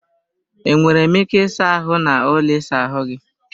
E nwere m ike ịsa ahụ n'ụlọ ịsa ahụ gị?